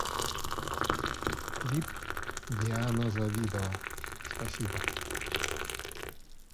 клип диана завидова спасибо